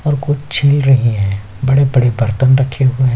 और कुछ छिल रही है बड़े-बड़े बर्तन रखे हुए हैं।